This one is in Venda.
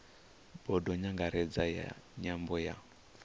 bodo nyangaredzi ya nyambo ya